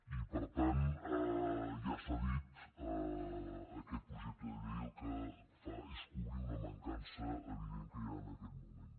i per tant ja s’ha dit aquest projecte de llei el que fa és cobrir una mancança evident que hi ha en aquest moment